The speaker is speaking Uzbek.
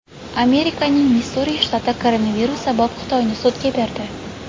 Amerikaning Missuri shtati koronavirus sabab Xitoyni sudga berdi.